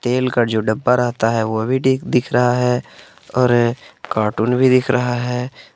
तेल का जो डब्बा रहता है वो भी दी दिख रहा है और कार्टून भी दिख रहा है।